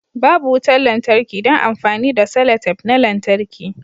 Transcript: Babu wutar lantarki don amfani da selotape na lantarki